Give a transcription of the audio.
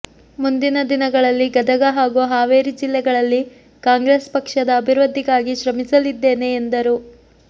ಮುಂದಿನ ದಿನಗಳಲ್ಲಿ ಗದಗ ಹಾಗೂ ಹಾವೇರಿ ಜಿಲ್ಲೆಗಳಲ್ಲಿ ಕಾಂಗ್ರೆಸ್ ಪಕ್ಷದ ಅಭಿವೃದ್ದಿಗಾಗಿ ಶ್ರಮಿಸಲಿದ್ದೇನೆ ಎಂದರು